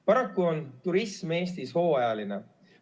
Paraku on turism Eestis hooajaline.